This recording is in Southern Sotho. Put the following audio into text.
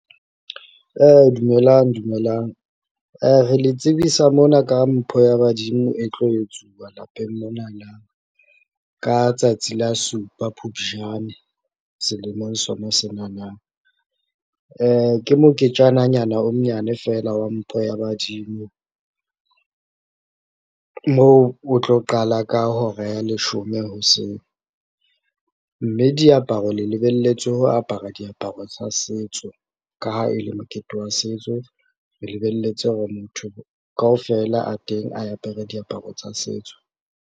Dumelang, dumelang. Re le tsebisa mona ka mpho ya badimo e tlo etsuwa lapeng monana, ka tsatsi la supa Phupjane selemong sona senana. Ke moketjananyana o monyane fela wa mpho ya badimo, moo otlo qala ka hora ya leshome hoseng, mme diaparo le lebelletswe ho apara diaparo tsa setso ka ha e le mokete wa setso, re lebelletse hore motho kaofela a teng a apere diaparo tsa setso.